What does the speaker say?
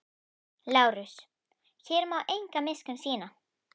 LÁRUS: Hér má enga miskunn sýna.